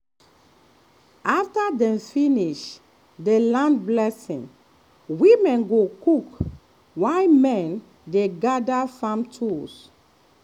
after dem finish the land blessing women go cook while men dey gather farm tools.